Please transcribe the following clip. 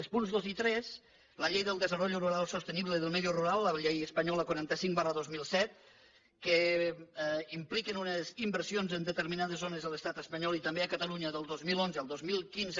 els punts dos i tres la ley para el desarrollo sostenible del medio rural la llei espanyola quaranta cinc dos mil set que implica unes inversions en determinades zones de l’estat espanyol i també a catalunya del dos mil onze al dos mil quinze